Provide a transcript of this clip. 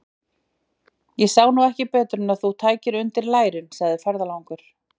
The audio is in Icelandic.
Ég sá nú ekki betur en þú tækir undir lærin, segir ferðalangur.